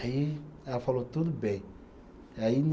Aí ela falou, tudo bem. Aí